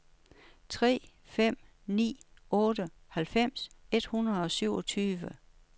tre fem ni otte halvfems et hundrede og syvogtyve